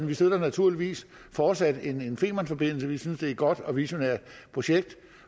vi støtter naturligvis fortsat en femernforbindelse vi synes er et godt og visionært projekt